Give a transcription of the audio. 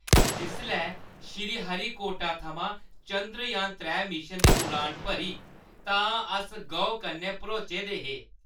जिसलै श्रीहरिकोटा थमां चंद्रयान-त्रै मिशन दी उड़ान भरी तां अस गौह् कन्नै भरोचे दे हे।